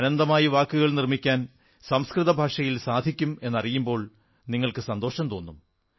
അനന്തമായി വാക്കുകൾ നിർമ്മിക്കാൻ സംസ്കൃത ഭാഷയിൽ സാധിക്കും എന്നറിയുമ്പോൾ നിങ്ങൾക്കു സന്തോഷം തോന്നും